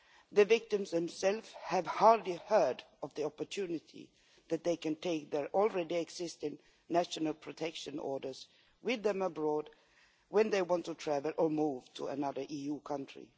The victims themselves have hardly ever heard of the opportunity that they have to take their already existing national protection orders with them abroad when they want to travel or move to another EU country.